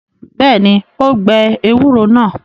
Bẹ́ẹ̀ ni, ó gbẹ ewúro náà.